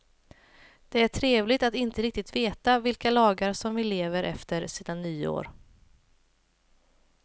Det är trevligt att inte riktigt veta vilka lagar som vi lever efter sedan nyår.